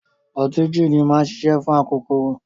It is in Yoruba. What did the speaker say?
Ọtí jííni máa ń ṣiṣẹ́ fún akokoro.